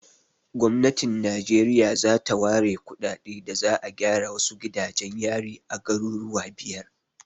Gwamnatin Najeriya ta ware kuɗaɗe da za'a gyara wasu gidajen yari a garuruwa biyar.